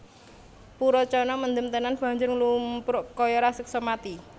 Purocana mendem tenan banjur nglumpruk kaya raseksa mati